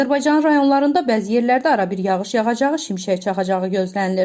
Azərbaycanın rayonlarında bəzi yerlərdə arabir yağış yağacağı, şimşək çaxacağı gözlənilir.